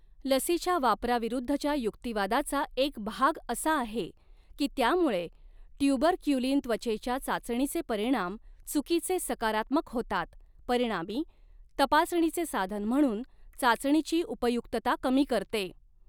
लसीच्या वापराविरूद्धच्या युक्तिवादाचा एक भाग असा आहे की त्यामुळे ट्यूबरक्युलिन त्वचेच्या चाचणीचे परिणाम चुकीचे सकारात्मक होतात, परिणामी तपासणीचे साधन म्हणून चाचणीची उपयुक्तता कमी करते.